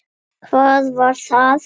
Hvað var það?